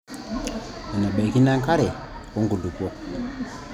enebaikino enkare onkaitubulu o nkulupuok.